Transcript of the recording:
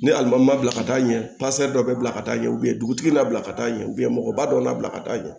Ne alimamu ma bila ka taa ɲɛ dɔ bila ka taa ɲɛ u ye dugutigi n'a bila ka taa ɲɛ mɔgɔba dɔ na bila ka taa ɲɛ